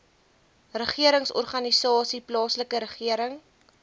regeringsorganisasies plaaslike regering